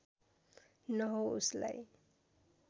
न हो उसलाई